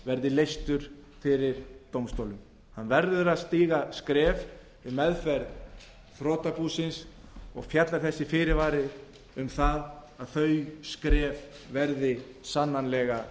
verði leystur fyrir dómstólum hann verður að stíga skref í meðferð þrotabúsins og fjallar þessi fyrirvari um það að þau skref verði sannanlega